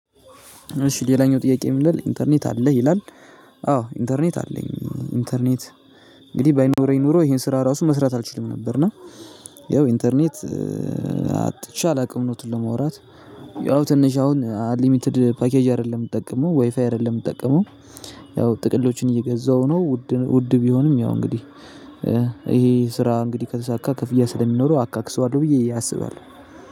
እሺ ሌላኛው ጥያቄ የምንለው ኢንተርኔት አለህ ይላል? አዎ ኢንተርኔት አለኝ ኢንተርኔት እንግዲህ ባይኖረኝ ኖሮ ይሄን ስራ ራሱ መስራት አልችልም ነበር። እና ያው ኢንተርኔት አጥቼ አላውቅም እዉነቱን ለማውራት። ያው ትንሽ አሁን አንሊሚትድ ፓኬጅ አይደለም የምጠቀመው ዋይፋይ አይደለም የምጠቀመው። ያው ጥቅሎቹን እየገዛው ነው ውድ ቢሆንም ያው እንግዲህ ይሄ ስራ እንግዲህ ከተሳካ ክፍያ ስለሚኖረው አካክሰዋለሁ ብዬ አስባለሁ